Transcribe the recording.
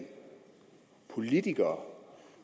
politikere